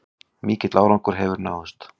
Mikill árangur hefur náðst